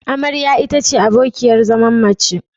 Amarya ita ce abokiyar zaman mace.